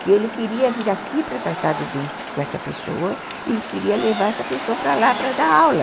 que ele queria vir aqui para tratar do dente com essa pessoa e queria levar essa pessoa para lá para dar aula.